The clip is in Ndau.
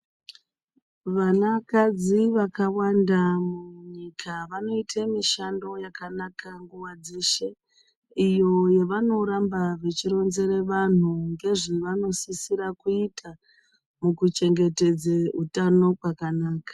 Vanakadzi vakawanda avo munyika vanoita mishando yakanaka nguva dzeshe. Iyo yavanoramba vechironzere vantu ngezvevanosisira kuita mukuchengetedze utano kwakanaka.